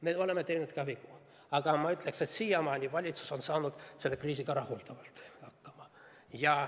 Me oleme teinud vigu, aga ma ütleksin, et siiamaani on valitsus saanud selle kriisiga rahuldavalt hakkama.